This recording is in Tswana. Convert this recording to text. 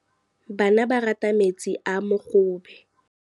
Bana ba rata metsi a mogobe.